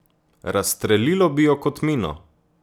Razstrelilo bi jo kot mino.